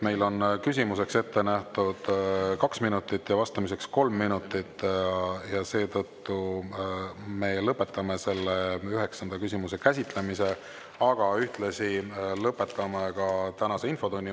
Meil on küsimuseks ette nähtud kaks minutit ja vastamiseks kolm minutit ja seetõttu me lõpetame selle üheksanda küsimuse käsitlemise, aga ühtlasi lõpetame ka tänase infotunni.